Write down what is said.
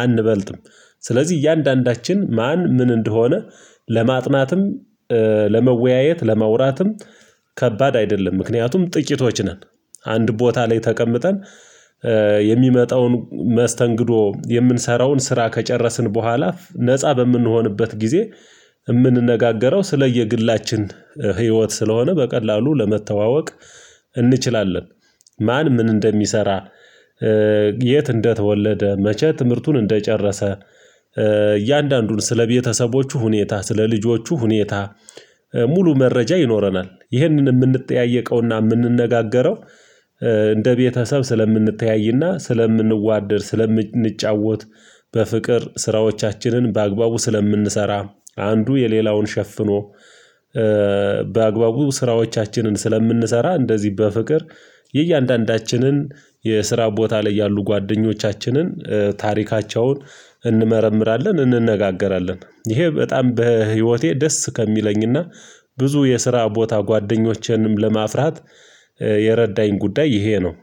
አንበልጥም ስለዚህ እያንዳንዳችን ማን ምን እንደሆነ ለማጥናትም ለመወያየት ለማውራትም ከባድ አይደለም ምክንያቱም ጥቂቶች ነን። አንድ ቦታ ላይ ተቀምጠን የሚመጣውን መስተንግዶ የምንሰራውን ስራ ከጨረስን በኋላ ነፃ በምንሆንበት ጊዜ የምንነጋገረው ስለየግላችን ህይወት ስለሆነ በቀላሉ ለመተዋወቅ እንችላለን። ማን ምን እንደሚሰራ የት እንደተወለደ መቼ ትምህርቱን እንደጨረሰ እያንዳንዱን ስለቤተሰቦቹ ሁኔታ ስለልጆቹ ሁኔታ ሙሉ መረጃ ይኖረናል። ይህንን የምንጠያየቀውና የምንነጋገረው እንደ ቤተሰብ ስለምንተያይና ስለምንዋደድ ስለምንጫወት በፍቅር ስራዎቻችንን በአግባቡ ስለምንሰራ አንዱ የሌላውን ሸፍኖ በአግባቡ ስራዎቻችንን ስለምንሰራ እንደዚህ በፍቅር የእያንዳንዳችንን የስራ ቦታ ላይ ያሉ ጓደኞቻችንን ታሪካቸውን እንመረምራለን። እንነጋገራለን ይሄ በጣም በህይወቴ ደስ ከሚለኝና ብዙ የስራ ቦታ ጓደኞቼንም ለማፍራት የረዳኝ ጉዳይ ይሄ ነው።